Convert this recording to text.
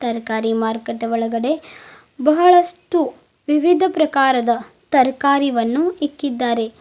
ತರಕಾರಿ ಮಾರ್ಕೆಟ್ ಒಳಗಡೆ ಬಹಳಷ್ಟು ವಿವಿಧ ಪ್ರಕಾರಗಳ ತರಕಾರಿವನ್ನು ಇಕ್ಕಿದ್ದಾರೆ.